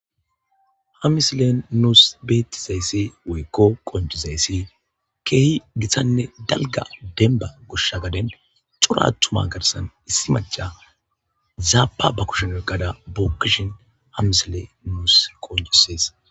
ha misilen nuus bettizayssi woykko qonjizayssi keehi githanne dalga demba goshsha gaden corattuma garsan issi maca zaapa ba kushen wolqada bookkishin ha misile nuus qonjisees